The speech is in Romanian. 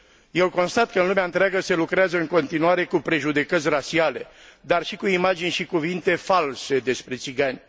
Eu constat că în lumea întreagă se lucrează în continuare cu prejudecăți rasiale, dar și cu imagini și cuvinte false despre țigani.